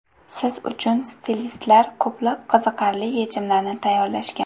Siz uchun stilistlar ko‘plab qiziqarli yechimlarni tayyorlashgan.